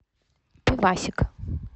пивасик